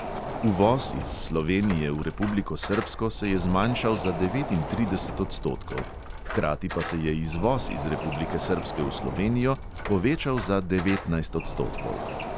Uvoz iz slovenije v republiko srbsko se je zmanjšal za devetintrideset odstotkov, hkrati pa se je izvoz iz republike srbske v slovenijo povečal za devetnajst odstotkov.